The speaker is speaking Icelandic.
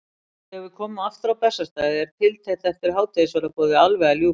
Þegar við komum aftur á Bessastaði er tiltekt eftir hádegisverðarboðið alveg að ljúka.